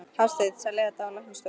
Hafsteinn: Selja þetta á læknastofur?